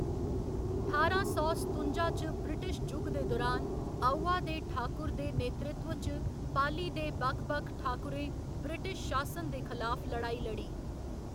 ठारां सौ सतुंजा च ब्रिटिश जुग दे दुरान, आउवा दे ठाकुर दे नेतृत्व च पाली दे बक्ख बक्ख ठाकुरें ब्रिटिश शासन दे खलाफ लड़ाई लड़ी।